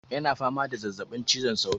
Yana fama da zazzabin cizon sauro.